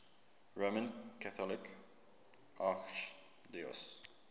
roman catholic archdiocese